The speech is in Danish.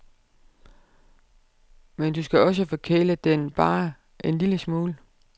Men du skal også forkæle den bare en lille smule.